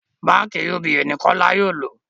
bánkì UBA ni kola yóò ló